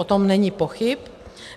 O tom není pochyb.